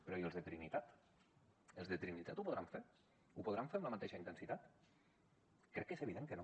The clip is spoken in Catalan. però i els de trinitat els de trinitat ho podran fer ho podran fer amb la mateixa intensitat crec que és evident que no